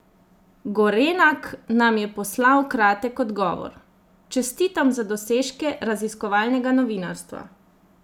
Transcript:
Gorenak nam je poslal kratek odgovor: "Čestitam za dosežke "raziskovalnega" novinarstva.